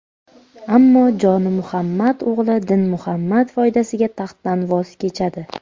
Ammo Jonimuhammad o‘g‘li Dinmuhammad foydasiga taxtdan voz kechadi.